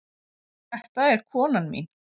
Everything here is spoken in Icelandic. Þetta er konan mín.